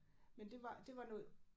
Men det var det var noget